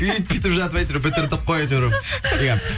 үйтіп бүйтіп жатып әйтеуір бітірдік қой әйтеуір иә